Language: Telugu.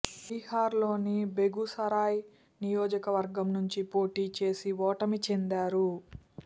బీహార్లోని బెగూసరాయ్ నియోజకవర్గం నుంచి పోటీ చేసి ఓటమి చెందారు